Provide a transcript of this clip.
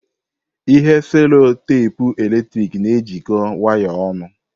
Ihe cello teepu eletrik na-ejikọta waya ọnụ.